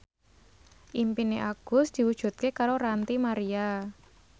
impine Agus diwujudke karo Ranty Maria